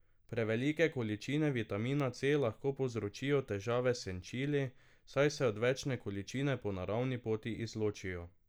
Prevelike količine vitamina C lahko povzročijo težave s sečili, saj se odvečne količine po naravni poti izločijo.